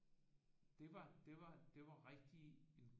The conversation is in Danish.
Det var det var det var rigtig